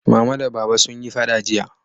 Mama da Baba sun yi faɗa jiya